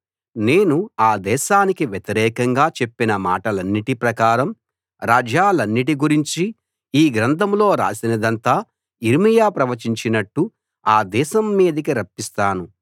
నేను ఆ దేశానికి వ్యతిరేకంగా చెప్పిన మాటలన్నిటి ప్రకారం రాజ్యాలన్నిటి గురించి ఈ గ్రంథంలో రాసినదంతా యిర్మీయా ప్రవచించినట్టు ఆ దేశం మీదికి రప్పిస్తాను